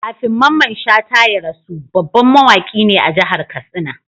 Kafin Mamman Shata ya rasu, babban mawaki ne a jahar katsina